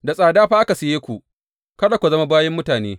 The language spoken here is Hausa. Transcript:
Da tsada fa aka saye ku, kada ku zama bayin mutane.